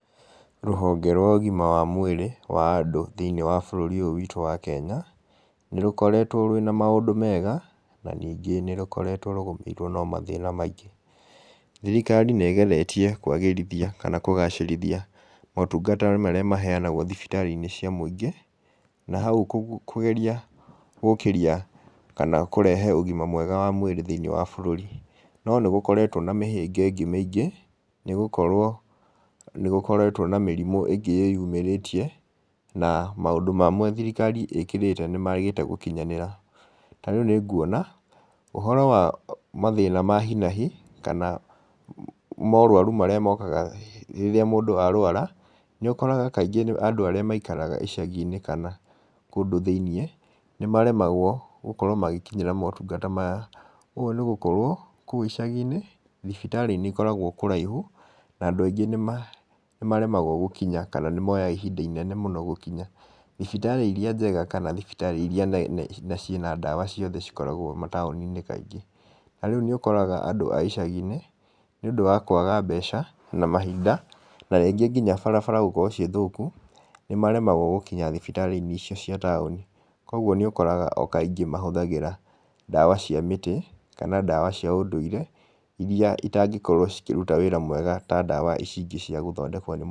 Rũhonge rwa ũgima wa mwĩrĩ wa andũ thĩinĩ wa bũrũri ũyũ witũ wa Kenya, nĩ rũkoretwo rũĩna maũndũ mega, na nĩngĩ nĩrũkoretwo rũgũmĩirwo nĩ mathĩna maingĩ. Thirikari nĩ ĩgeretie kwagĩrithia kana gũgacĩrithia motungata marĩa maheyanagwo thibitarĩ-inĩ cia mũingĩ. Na hau kũgeria gũkĩria, kana kũrehe ũgima mwega wa mwĩrĩ thĩinĩ wa bũrũri. No nĩ gũkoretwo na mĩhĩnga ĩngĩ mĩingĩ, nĩgũkorwo, nĩgũkoretwo na mĩrimũ ingĩ ĩyumĩrĩtie, na maũndũ mamwe thirikari ĩkĩrĩire, nĩmagĩte gũkinyanĩra. Tarĩu nĩnguona, ũhoro wa mathĩĩna ma hinahi, kana morwaru marĩa mokaga rĩrĩa mũndũ arwara, nĩ ũkoraga kaingĩ nĩ andũ arĩa maikaraga icagi-inĩ kana kũndũ thĩinĩ, nĩ maremagwo gũkorwo magĩkinyĩra motungata maya. Ũũ nĩ gũkorwo, kũu icagi-inĩ, thibitarĩ nĩ ikoragwo kũraihu, na andũ aingĩ nĩmaremagwo gũkinya, kana nĩmoyaga ihinda inene mũno gũkinya., thibitarĩ iria njega kana thibitarĩ iria nene na ciĩna ndawa ciothe cigĩkoragwo mataũni-inĩ kaingĩ. Tarĩũ nĩ ũkoraga andũ a icagi-inĩ, nĩũndũ wa kwaga mbeca na mahinda, narĩngĩ nginya barabara gũkorwo ciĩ thũku, nĩ maremagwo gũkinya thibitarĩ icio cia taũni, koguo nĩ ũkoraga o kaingĩ matũmagĩra ndawa cia mĩtĩ, kana ndawa cia ũndũire iria itangĩkorwo cikĩruta wĩra mwega ta ndawa iciingĩ ciia gũthondekwo -